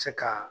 Se ka